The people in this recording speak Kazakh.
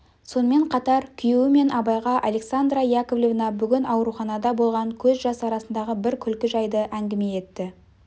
сонымен қатар күйеуі мен абайға александра яковлевна бүгін ауруханада болған көз жас арасындағы бір күлкі жайды әңгіме етті